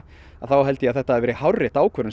þá held ég að þetta hafi verið hárrétt ákvörðun